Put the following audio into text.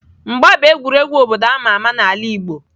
Mgba bụ egwuregwu obodo a ma ama n'ala Igbo.